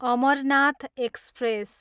Amarnath express